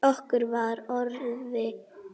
Okkur var orða vant.